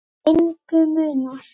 Engu munar.